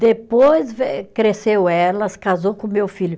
Depois ve cresceu ela, se casou com o meu filho.